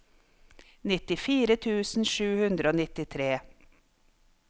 nittifire tusen sju hundre og nittitre